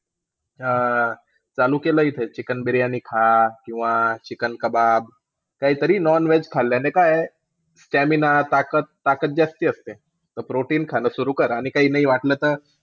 हा. चालू केलाय इथं chicken बिर्याणी खा. Chicken kebab. काहीतरी non-veg खाल्ल्याने काय आहे, stamina त्याने ना त्याने ताकद जास्ती असते. ते खाणं सुरु कर, आणि काही नाही वाटलं तर,